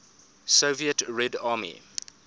soviet red army